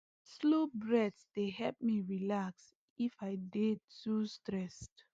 slow breath dey help me relax if i dey too stressed